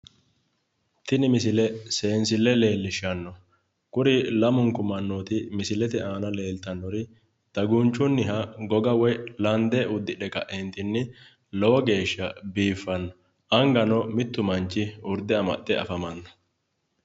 Tini misile seensille leellishshanno. Kuri lamunku mannooti dagunchunniha goga udidhe ka'eentinni lowo geeshsha biiffsnno. Angano mittu manchi urde amadino.